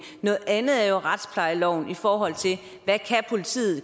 noget andet er jo retsplejeloven i forhold til hvad politiet